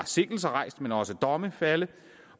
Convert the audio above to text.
sigtelser rejst men også domme falde